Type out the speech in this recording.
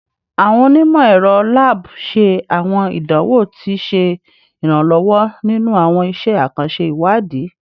Awọn onimọ-ẹrọ lab ṣe awọn idanwo ati ṣe iranlọwọ ninu awọn iṣẹ akanṣe iwadi